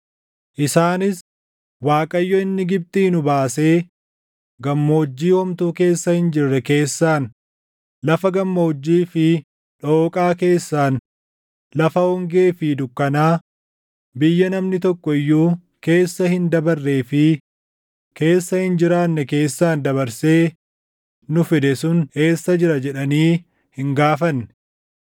Isaanis, ‘ Waaqayyo inni Gibxii nu baasee, gammoojjii homtuu keessa hin jirre keessaan, lafa gammoojjii fi dhooqaa keessaan lafa hongee fi dukkanaa, biyya namni tokko iyyuu keessa hin dabarree fi keessa hin jiraanne keessaan dabarsee nu fide sun eessa jira?’ jedhanii hin gaafanne.